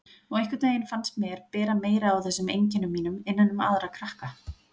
Og einhvern veginn fannst mér bera meira á þessum einkennum mínum innan um aðra krakka.